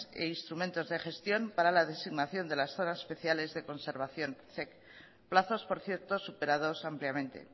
e instrumentos de gestión para la designación de las zonas especiales de conservación zec plazos por cierto superados ampliamente